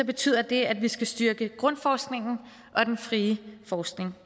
betyder det at vi skal styrke grundforskningen og den frie forskning